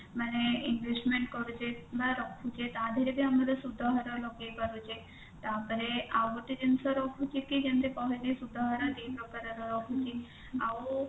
ମାନେ investment କରୁଛେ ବା ରଖୁଛେ ତା ଧୀରେ ବି ଆମର ସୁଧହାର ଲଗେଇ ପାରୁଛେ ତାପରେ ଆଉ ଗୋଟେ ଜିନିଷ ରହୁଛି କି ଯେମିତି ତମେ ଯେ ସୁଧହାର ଦି ପ୍ରକାରର ରହୁଛି ଆଉ